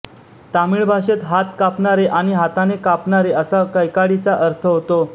तमिळ भाषेत हात कापणारे आणि हाताने कापणारे असा कैकाडीचा अर्थ होतो